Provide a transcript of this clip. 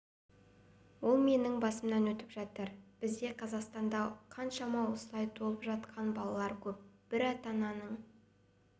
ол менің басымнан өтіп жатыр бізде қазақстанда қаншама іолай туылып жатқан балалар көп бір ата-ананың